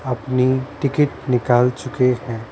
अपनी टिकट निकाल चुके हैं ।